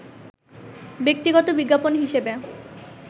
ব্যক্তিগত বিজ্ঞাপন হিসেবে